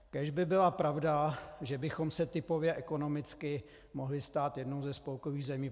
Kéž by byla pravda, že bychom se typově, ekonomicky mohli stát jednou ze spolkových zemí.